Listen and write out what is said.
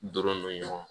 Donnen don ɲɔgɔn na